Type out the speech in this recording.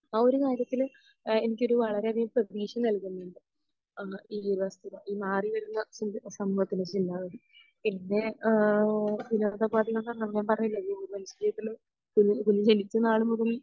ആ ഒരു കാര്യത്തിൽ അഹ് എനിക്ക് വളരേയധികം പ്രദീക്ഷ നൽകുന്നുണ്ട് അഹ് ഈ വസ്തുത ഈ മാറി വരുന്ന സമൂഹത്തിൻ്റെ ചിന്താഗതി പിന്നെ ആഹ് വിനോദോപാദികൾ നാളുമുതൽ